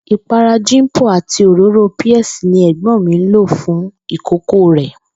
Ìpara Jimpo àti òróró Pears ni è̩gbó̩n mi ń lò fún ìkókó rè̩